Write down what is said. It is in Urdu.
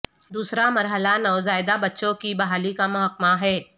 دوسرا مرحلہ نوزائیدہ بچوں کی بحالی کا محکمہ ہے